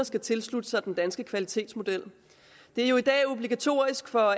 skal tilslutte sig den danske kvalitetsmodel det er jo i dag obligatorisk for